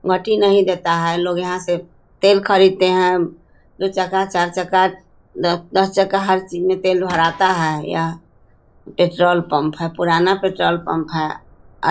मट्टी नहीं देता है। लोग यहाँ से तेल खरीद ते है। दो चका चार चका द दस चका हर चीज में तेल भराता है। यह पेट्रोल पम्प है। पुराना पेट्रोल पम्प है। अ --